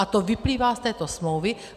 A to vyplývá z této smlouvy.